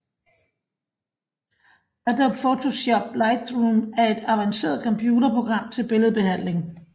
Adobe Photoshop Lightroom er et avanceret computerprogram til billedbehandling